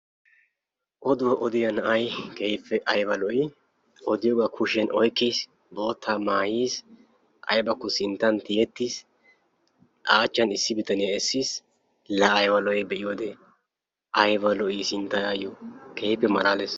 Odduwa odiyaa na'ay keehippe aybba lo''i odiyooba oykkiis, bootta maayiis, aybbakko sinttan tiyetiis, achchan issi bitaniyaa essiis. laa aybba lo''i sinttay ayyo keehippe malalees.